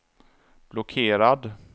blockerad